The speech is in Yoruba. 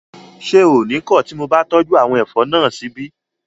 Ṣé o ní kọ̀ tí mo bá tọ́jú àwọn ẹ̀fọ́ náà síbí?